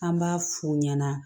An b'a f'u ɲɛna